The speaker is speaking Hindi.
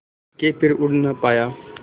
के फिर उड़ ना पाया